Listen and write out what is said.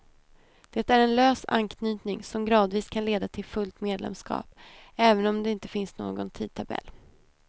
Det är en lös anknytning, som gradvis kan leda till fullt medlemskap, även om det inte finns någon tidtabell.